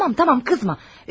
Of, tamam, tamam, qızma.